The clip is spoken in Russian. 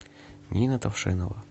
нина тавшенова